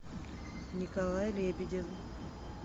николай лебедев